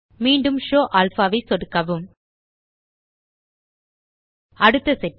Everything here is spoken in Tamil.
மீண்டும் ஷோவ் அல்பா ஐ சொடுக்கவும் அடுத்த செட்டிங்